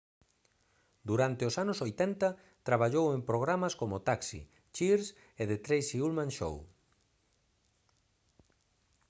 durante os anos 80 traballou en programas como taxi cheers e the tracy ullman show